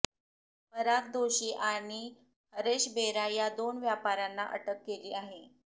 पराग दोषी आणि हरेश बेरा या दोन व्यापाऱ्यांना अटक केली आहे